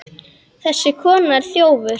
Þessi kona er þjófur.